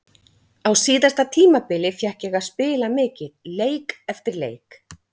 Á síðasta tímabili fékk ég að spila mikið, leik eftir leik.